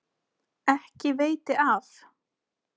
Ekki veiti af.